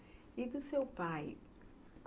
E do seu pai?